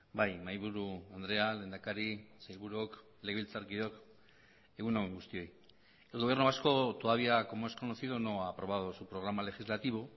bai mahaiburu andrea lehendakari sailburuok legebiltzarkideok egun on guztioi el gobierno vasco todavía como es conocido no ha aprobado su programa legislativo